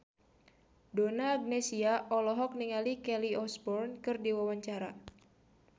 Donna Agnesia olohok ningali Kelly Osbourne keur diwawancara